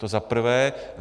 To za prvé.